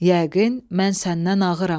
Yəqin mən səndən ağıram.